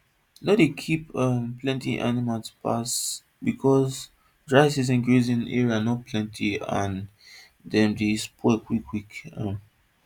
no dey keep um plenty animal pass because dry season grazing area no plenty and dem dey spoil quick quick um